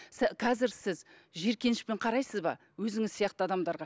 қазір сіз жиіркенішпен қарайсыз ба өзіңіз сияқты адамдарға